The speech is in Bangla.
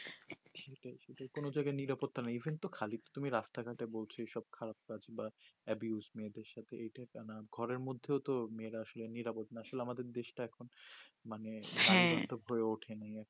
যেকোনো জায়গায় নিরাপত্তা নেই কিন্তু খালি তুমি রাস্তা ঘাটে বলছো ওইসব খারাপ কাজ বা মেয়েদের সাথে এইটা একা না ঘরের মধ্যেও তো মেয়েরা তো আসলে নিরাপদ না আসলে আমাদের দেশ টা এখন মানে হ্যা হয়ে ওঠেনি